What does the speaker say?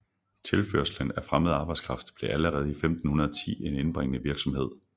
Tilførslen af fremmed arbejdskraft blev allerede fra 1510 en indbringende virksomhed